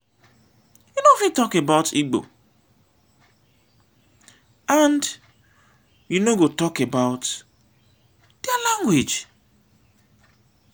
you no fit talk about igbo and you no go talk about dia language.